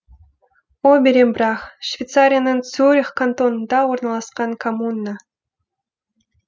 оберембрах швейцарияның цюрих кантонында орналасқан коммуна